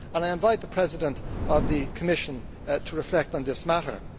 I invite the President of the Commission to reflect on this matter.